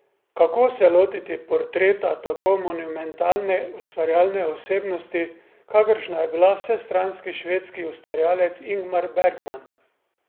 Kako se lotiti portreta tako monumentalne ustvarjalne osebnosti, kakršna je bila vsestranski švedski ustvarjalec Ingmar Bergman?